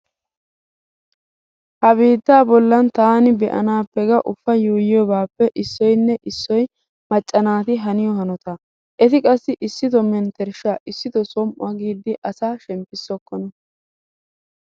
Ha biittaa bollan taani be'anaappe ga uufa yuuyyiobaappe issoynne issoy macca naati haniyo hanotaa. Eti qassi issito menttershshaa issitoo som"uwa giiddi asa shemppissokkona.